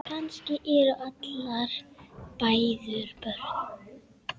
Kannski eru allar mæður börn.